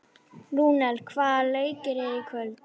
Rúnel, hvaða leikir eru í kvöld?